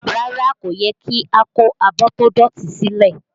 Rárá, kò yẹ kí a kó abọ́ tó dọ̀tí sílẹ̀